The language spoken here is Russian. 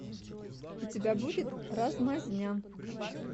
у тебя будет размазня